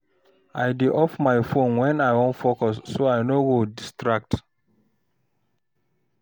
I dey off my phone when I wan focus, so I no go distract.